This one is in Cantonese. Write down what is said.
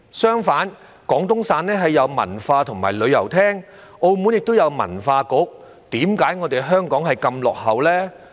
相反，廣東省設有文化和旅遊廳，澳門亦有文化局，為何香港如此落後呢？